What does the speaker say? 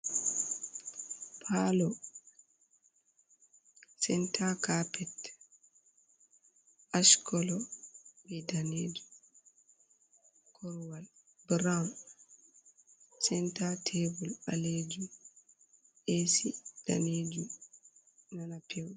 Palo senta kapet ashcolo be danejum korowal burawun senta tebul ɓalejum esi danejum nana peuɗum.